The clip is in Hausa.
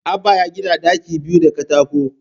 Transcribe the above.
Abbah ya gina ɗaki biyu da katako